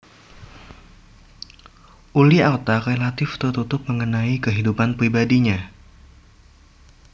Ully Artha relatif tertutup mengenai kehidupan pribadinya